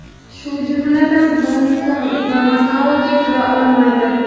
shu jumladan Gonkong va Makaoga kira olmaydi.